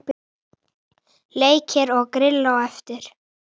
Leikir og grill á eftir.